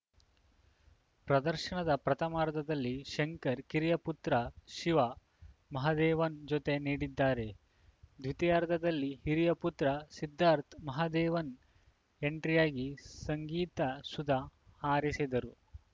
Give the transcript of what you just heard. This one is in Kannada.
ಪ್ರದರ್ಶನದ ಪ್ರಥಮಾರ್ಧದಲ್ಲಿ ಶಂಕರ್‌ ಕಿರಿಯ ಪುತ್ರ ಶಿವ ಮಹಾದೇವನ್‌ ಜತೆ ನೀಡಿದರೆ ದ್ವಿತೀಯಾರ್ಧದಲ್ಲಿ ಹಿರಿಯ ಪುತ್ರ ಸಿದ್ಧಾರ್ಥ ಮಹಾದೇವನ್‌ ಎಂಟ್ರಿಯಾಗಿ ಸಂಗೀತ ಸುಧ ಹರಿಸಿದರು